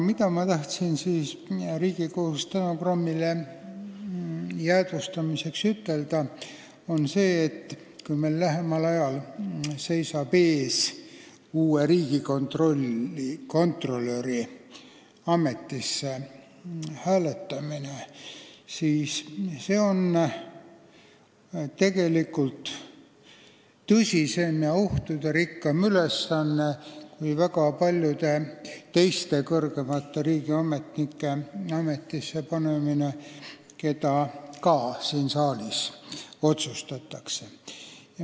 Ma tahan siin Riigikogus täna stenogrammi jäädvustamiseks ütelda seda, et kui meil lähemal ajal seisab ees uue riigikontrolöri ametisse hääletamine, siis see on tegelikult tõsisem ja ohtuderikkam ülesanne kui väga paljude teiste kõrgemate riigiametnike ametisse panemine, mida ka siin saalis otsustatakse.